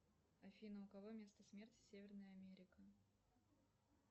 афина у кого место смерти северная америка